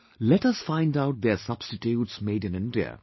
Let us find out their substitutes made in India